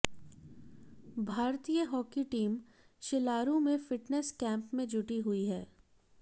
भारतीय hockey team Shilaru में fitness camp में जुटी हुई है